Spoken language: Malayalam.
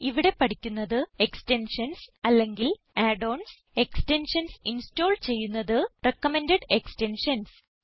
ഇവിടെ പഠിക്കുന്നത് എക്സ്റ്റെൻഷൻസ് അല്ലെങ്കിൽ add ഓൺസ് എക്സ്റ്റെൻഷൻസ് ഇൻസ്റ്റോൾ ചെയ്യുന്നത് റികമെൻഡഡ് എക്സ്റ്റെൻഷൻസ്